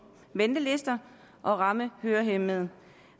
ventelister og ramme hørehæmmede